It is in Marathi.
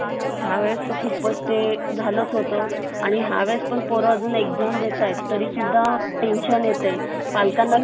त्यावेळेस खूपच ते झालाच होत आणि ह्य वेळेस पण पोर अजून exam देतायेत तरी सुद्धा टेन्शन येतंय पालकांना